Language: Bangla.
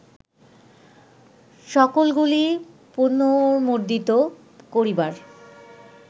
সকলগুলি পুনর্মুদ্রিত করিবার